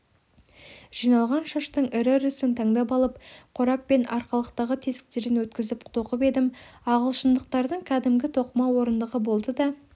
жиналған шаштың ірі-ірісін тандап алып қорап пен арқалықтағы тесіктерден өткізіп тоқып едім ағылшындықтардың кәдімгі тоқыма орындығы болды да